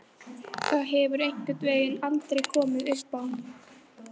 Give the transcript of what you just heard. Það hefur einhvern veginn aldrei komið uppá.